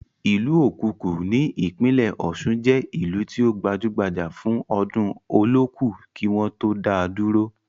Ìlú okuku ní ìpínlẹ̀ ọ̀ṣun jẹ́ ìlú tí ó gbajúbajà fún ọdún olooku kí wọ́n tó dáa dúró.